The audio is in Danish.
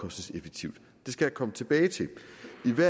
det er til